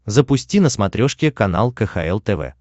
запусти на смотрешке канал кхл тв